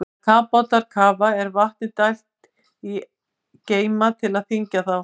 Þegar kafbátar kafa er vatni dælt í geyma til að þyngja þá.